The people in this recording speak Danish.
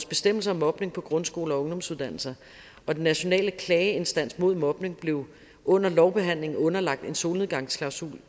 bestemmelser om mobning på grundskoler og ungdomsuddannelser den nationale klageinstans mod mobning blev under lovbehandlingen underlagt en solnedgangsklausul